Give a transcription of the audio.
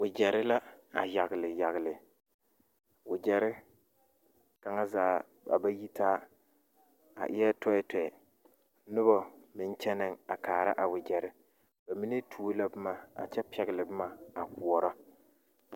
Wagyɛre la a yagle yagle wagyɛre kaŋa zaa a ba yitaa a eɛ tɛɛtɛɛ noba meŋ kyɛnɛŋ a kaara a wagyɛre ba mine tuo la boma a kyɛ pɛgle boma a koɔrɔ.